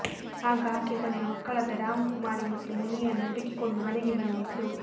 ಆಗ ಆಕೆ ತನ್ನ ಮಕ್ಕಳಾದ ರಾಮ್ ಕುಮಾರಿ ಮತ್ತು ಮುನ್ನಿಯನ್ನು ಹುಡುಕಿಕೊಂಡು ಮನೆಗೆ ಬಂದಿದ್ಲು